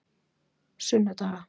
sunnudaga